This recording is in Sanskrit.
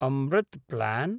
अमृत् प्लान्